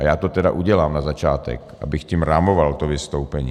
A já to tedy udělám na začátek, abych tím rámoval to vystoupení.